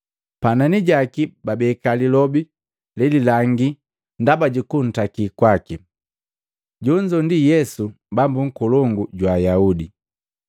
Panani jaki babeka lilobi lelilangi ndaba jukutakiliwa kwaki: “Jonzo ndi Yesu Bambu Nkolongu jwa Ayaudi.”